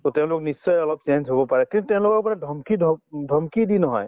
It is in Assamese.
to তেওঁলোক নিশ্চয় অলপ change হব পাৰে কিন্তু তেওঁলোকক মানে ধমকি ধপ ধমকি দি নহয়